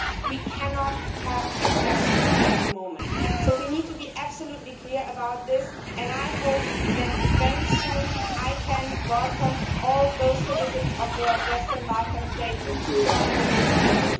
we cannot have accession at the moment. We need to be absolutely clear about this, and I hope that very soon I can welcome all those citizens of the Western Balkan states to join the European Union.